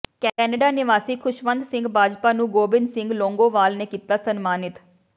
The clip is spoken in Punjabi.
ਕੈਨੇਡਾ ਨਿਵਾਸੀ ਖੁਸ਼ਵੰਤ ਸਿੰਘ ਬਾਜਵਾ ਨੂੰ ਗੋਬਿੰਦ ਸਿੰਘ ਲੌਂਗੋਵਾਲ ਨੇ ਕੀਤਾ ਸਨਮਾਨਿਤ